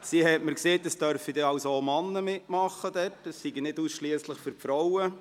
Sie hat mir gesagt, dass auch Männer mitmachen dürften, es sei nicht nur etwas für Frauen.